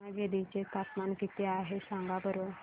पेमगिरी चे तापमान किती आहे सांगा बरं